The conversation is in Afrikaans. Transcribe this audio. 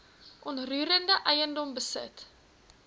onroerende eiendom besit